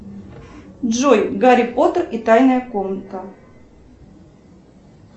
джой гарри поттер и тайная комната